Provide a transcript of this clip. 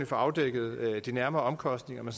får afdækket de nærmere omkostninger men